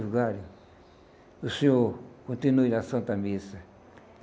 Vigário, o senhor continue na Santa Missa.